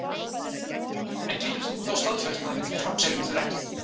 En getur þú þá staðfest að við framseljum þær ekki?